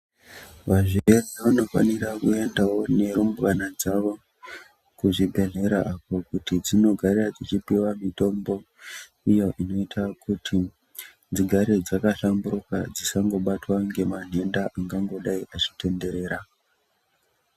Vazvere vano fanira ku endawo ne rumbwana dzavo ku zvibhedhlera uko kuti dzinogara dzichi piwa mitombo iyo inoita kuti dzigare dzaka hlamburuka dzisango batwa ngema nhenda angango dai achi tenderera.